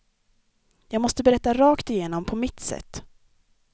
Jag måste berätta rakt igenom på mitt sätt.